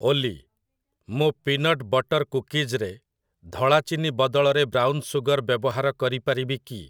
ଓଲି, ମୁଁ peanut butter କୁକିଜ୍‌ରେ ଧଳା ଚିନି ବଦଳରେ ବ୍ରାଉନ୍ ସୁଗର୍ ବ୍ୟବହାର କରିପାରିବି କି?